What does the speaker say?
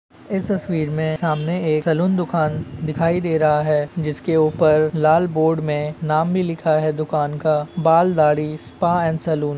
इस तस्वीर में सामने सलून दुकान दिखाय दे रहा है जिस के ऊपर बोर्ड पे नाम भी लिखा हुवा है दुकान का बाल दाढ़ी स्पा सलून--